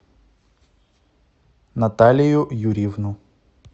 наталию юрьевну